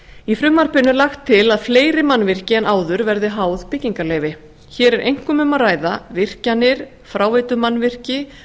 í frumvarpinu er lagt til að fleiri mannvirki en áður verði háð byggingarleyfi hér er einkum um að ræða virkjanir fráveitumannvirki